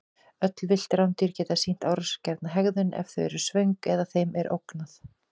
Öll villt rándýr geta sýnt árásargjarna hegðun ef þau eru svöng eða þeim er ógnað.